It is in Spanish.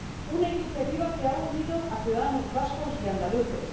una iniciativa que ha unido a ciudadanos vascos y andaluces